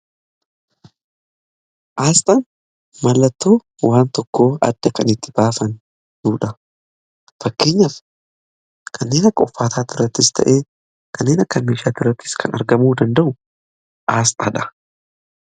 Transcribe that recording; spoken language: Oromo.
Aasxan mallattoo waan tokko adda kan itti baafnudha. Fakkeenyaaf kanneen akka uffataa irrattis ta'e, kanneen akka meeshaa irrattis kan argamuu danda'u aasxaadha.